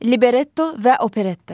Libretto və operetta.